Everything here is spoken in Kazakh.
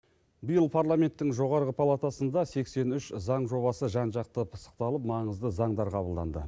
биыл парламенттің жоғарғы палатасында сексен үш заң жобасы жан жақты пысықталып маңызды заңдар қабылданды